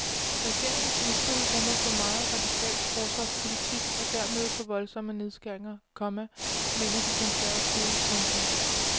Regeringens udspil rummer for meget radikal forsvarspolitik og dermed for voldsomme nedskæringer, komma mener de konservative. punktum